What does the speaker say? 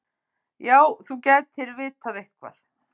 Já, þú gætir vitað eitthvað.